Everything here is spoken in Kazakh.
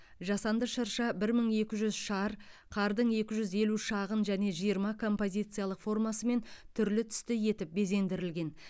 жасанды шырша бір мың екі жүз шар қардың екі жүз елу шағын және жиырма композициялық формасымен түрлі түсті етіп безендірілген